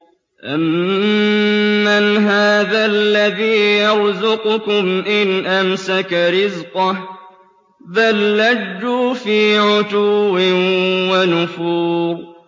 أَمَّنْ هَٰذَا الَّذِي يَرْزُقُكُمْ إِنْ أَمْسَكَ رِزْقَهُ ۚ بَل لَّجُّوا فِي عُتُوٍّ وَنُفُورٍ